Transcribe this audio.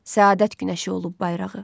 Səadət günəşi olub bayrağı.